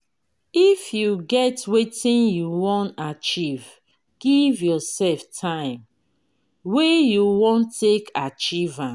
if you get wetin you wan achieve give yourself time wey you wan take achieve am